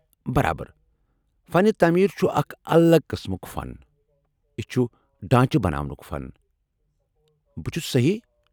برابر! فنہِ تعمیٖر چُھ اکھ الگ قٕسمُک فن، یہِ چُھ ڈانچہِ بناونُک فن۔ بہٕ چُھسا صحیٖح؟